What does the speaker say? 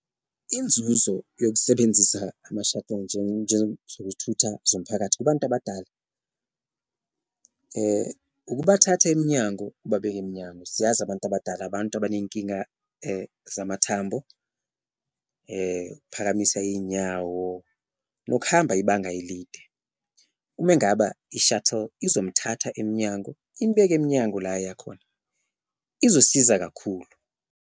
Inzuzo yokusebenzisa ama-shuttle zokuthutha zomphakathi kubantu abadala ukubathatha emnyango ubabeke emnyango, siyazi abantu abadala abantu abanenkinga zamathambo, ukuphakamisa iy'nyawo nokuhamba ibanga elide. Uma engaba i-shuttle izomthatha emnyango imbeke emnyango la ayakhona izosiza kakhulu.